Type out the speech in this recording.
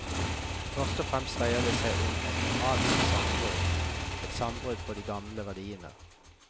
Først og fremst dreide det seg om et moralsk sammenbrudd, et sammenbrudd for de gamle verdiene.